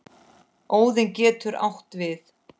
Óðinn getur átt við